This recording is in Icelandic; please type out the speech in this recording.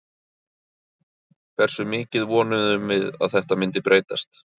Hversu mikið vonuðum við að þetta myndi breytast?